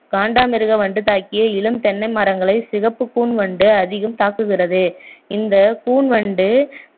காண்டாமிருக வண்டு தாக்கிய இளம் தென்னை மரங்களை சிகப்பு கூன் வண்டு அதிகம் தாக்குகிறது இந்த கூன் வண்டு